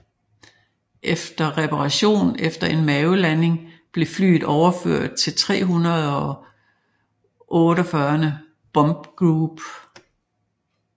Efter reparation efter en mavelanding blev flyet overført til 388th Bomb Group